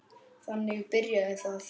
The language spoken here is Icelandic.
Þannig byrjaði það.